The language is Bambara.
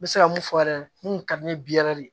N bɛ se ka mun fɔ yɛrɛ mun ka di ne ye biɲɛ yɛrɛ de